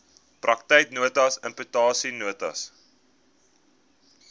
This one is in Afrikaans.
praktyknotas interpretation notes